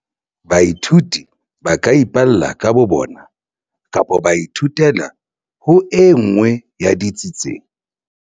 Baithuti ba ka ipalla ka bo bona kapa ba ithutela ho e nngwe ya ditsi tse